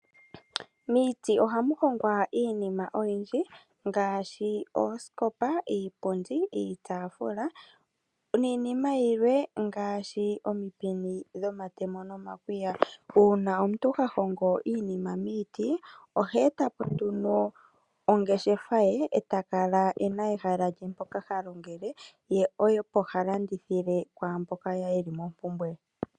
Miiti ohamu hongwa iinima oyindji ngaashi oosikopa, iipundi, iitafula niinima yilwe ngaashi, omipini dhomatemo nomakwiya. Uuna omuntu ha hogo iinima miiti oheetapo ongeshefa ye, etakala ena ehala lye mpoka ha longele nokulanditha kwaamboka yeli mompumbwe.